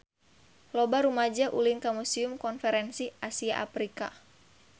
Loba rumaja ulin ka Museum Konferensi Asia Afrika